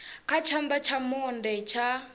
kha tshana tsha monde tsha